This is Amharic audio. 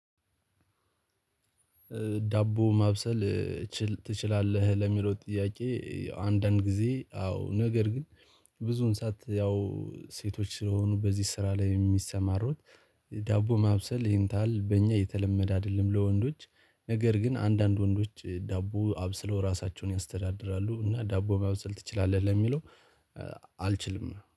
ዳቦ ማብሰል ትችላለህ ለሚለው ጥያቄ አንዳንድ ጊዜ አዎ ነገር ግን ብዙውን ሰዓት ያው ሴቶች ስለሆኑ በዚህ ስራ ላይ የሚሰማሩት ዳቦ ማብሰል ይሄንታል በእኛ የተለመደ አይደለም ለወንዶች ነገር ግን አንዳንድ ወንዶች ዳቦ አብስለው ራሳቸውን ያስተዳድራሉ እና ዳቦ ማብሰል ትችላለህ ለሚለው? አልችልም